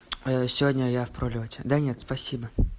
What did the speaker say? сегодня я в пролёте да нет спасибо